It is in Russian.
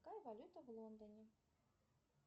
какая валюта в лондоне